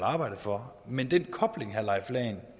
arbejde for men den kobling herre leif lahn